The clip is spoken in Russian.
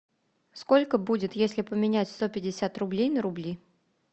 сколько будет если поменять сто пятьдесят рублей на рубли